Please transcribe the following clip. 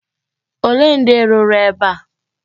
Olee ndị rụrụ ebe a?